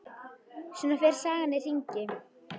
Svona fer sagan í hringi.